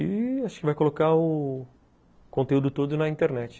E acho que vai colocar o conteúdo todo na internet.